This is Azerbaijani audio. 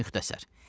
Muxtəsər.